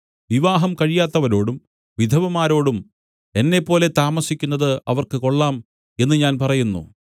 വിവാഹം കഴിയാത്തവരോടും വിധവമാരോടും എന്നെപ്പോലെ താമസിക്കുന്നത് അവർക്ക് കൊള്ളാം എന്ന് ഞാൻ പറയുന്നു